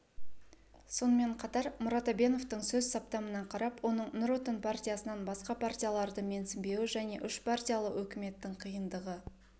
сонымен қатар мұрат әбеновтың сөз саптамына қарап оның нұр отан партиясынан басқа партияларды менсінбеуі және үшпартиялы өкіметтің қиындығы